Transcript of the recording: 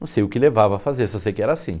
Não sei o que levava a fazer, só sei que era assim.